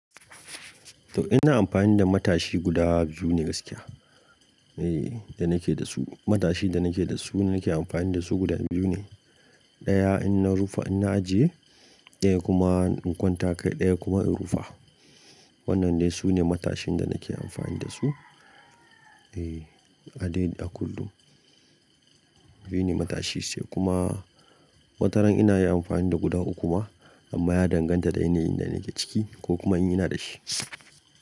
Toh ina amfani da matashi guda biyu ne gaskiya. Eh, da nake da su matashin da nake da su nake amfani da su guda biyu ne. Ɗaya in na rufa in na ajiye, ɗaya kuma in kwanta kai ɗaya kuma in rufa. Wannan dai su ne matashin da nake amfani da su. Eh, a dai a kullum. Biyu ne matashi sai kuma wataran ina yi amfani da guda uku ma amma ya danganta da yanayin da nake ciki ko kuma in ina da shi.